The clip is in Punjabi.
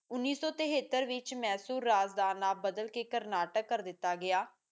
ਉਨੀ ਸੋ ਤਿਹੱਤਾਰ ਵਿੱਚ ਮੈਕਸੁ ਰਾਜ ਦਾ ਨਾਮ ਬਾਦਲ ਕੇ ਕਰਨਾਟਕ